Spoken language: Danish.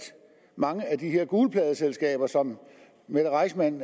mange af de her gulpladeselskaber som mette reissmann